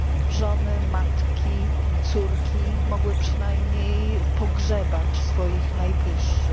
Żony, matki, córki mogły przynajmniej pogrzebać swoich najbliższych.